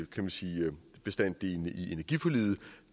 kan man sige i energiforliget